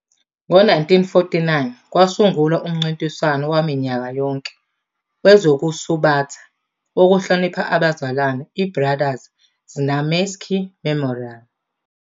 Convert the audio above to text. Ngo-1949, kwasungulwa umncintiswano waminyaka yonke wezokusubatha wokuhlonipha abazalwane, i- Brothers Znamensky Memorial.